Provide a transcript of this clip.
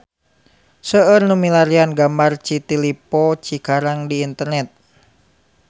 Seueur nu milarian gambar City Lippo Cikarang di internet